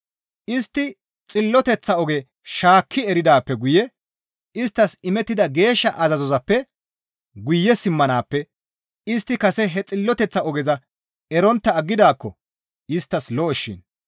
Istti xilloteththa oge shaakki eridaappe guye isttas imettida geeshsha azazozappe guye simmanaappe istti kase he xilloteththa ogeza erontta aggidaakko isttas lo7okkoshin.